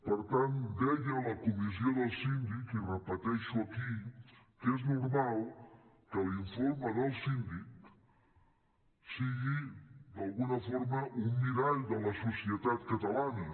per tant deia a la comissió del síndic i ho repeteixo aquí que és normal que l’informe del síndic sigui d’alguna forma un mirall de la societat catalana